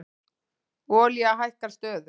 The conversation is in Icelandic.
Olía hækkar stöðugt